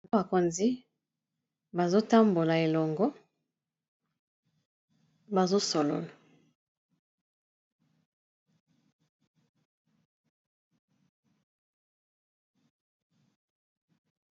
Bakonzi bazotambola elongo bazosolola.